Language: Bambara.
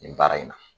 Nin baara in na